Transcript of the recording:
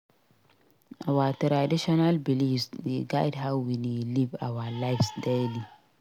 Our traditional beliefs dey guide how we dey live our lives daily.